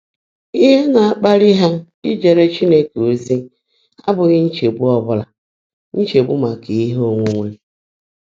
Íhe ná-ákpáli há íjeèré Chínekè ózí ábụ́ghị́ nchegbu ábụ́ghị́ nchegbu màká íhe óńwúńwé.